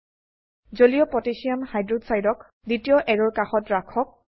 জলীয় পটাসিয়াম হাইক্সাইডক aqকহ দ্বিতীয় অ্যাৰোৰ কাষত ৰাখক